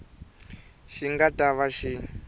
xi nga ta va xi